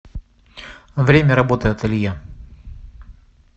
время работы ателье